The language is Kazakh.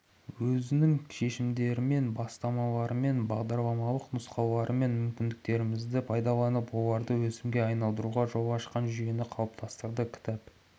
өзінің шешімдерімен бастамаларымен бағдарламалық нұсқауларымен мүмкіндіктерімізді пайдаланып оларды өсімге айналдыруға жол ашқан жүйені қалыптастырды кітап